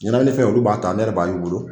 Ɲɛnamini fɛn, olu b'a ta, ne b'ale ye, olu bolo